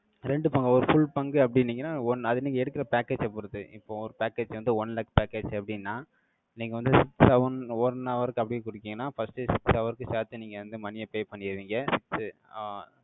ரெண்டு பங்கு, ஒரு full பங்கு அப்படின்னீங்கன்னா, ஒண்ணு, அதை, நீங்க எடுக்கிற package அ பொறுத்து இப்போ ஒரு package வந்து, one lakh package எப்படின்னா, நீங்க வந்து, seven one hour க்கு அப்படியே கொடுத்தீங்கன்னா, first six hour க்கு சேர்த்து, நீங்க வந்து, money ய pay பண்ணிருவீங்க. ஆஹ்